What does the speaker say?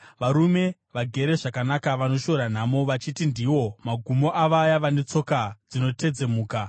Varume vagere zvakanaka vanoshora nhamo, vachiti ndiwo magumo avaya vane tsoka dzinotedzemuka.